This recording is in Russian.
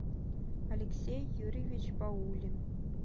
алексей юрьевич баулин